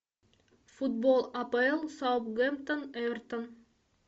футбол апл саутгемптон эвертон